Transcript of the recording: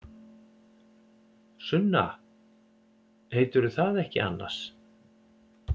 Sunna. heitirðu það ekki annars?